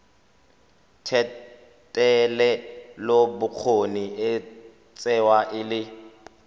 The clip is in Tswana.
thetelelobokgoni e tsewa e le